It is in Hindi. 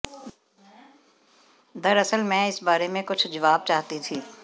दरअसल मैं इस बारे में कुछ जवाब चाहती थी